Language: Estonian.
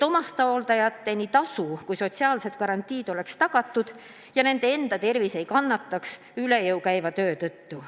Omastehooldajate tasu ja sotsiaalsed garantiid oleks tagatud ja nende enda tervis ei kannataks üle jõu käiva töö tõttu.